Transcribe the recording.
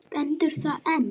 Stendur það enn?